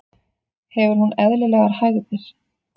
Hefur hún eðlilegar hægðir?